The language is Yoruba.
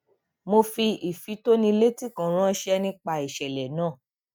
mo fi ifitonileti kan ranṣẹ nípa ìṣẹlẹ náà